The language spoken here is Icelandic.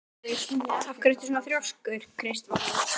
Af hverju ertu svona þrjóskur, Kristvarður?